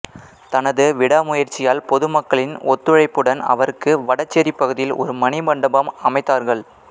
தனது விடாமுயற்சியால் பொதுமக்களின் ஒத்துளைப்புடன் அவருக்கு வடசேரிப்பகுதியில் ஒரு மணிமண்டபம் அமைத்தார்கள்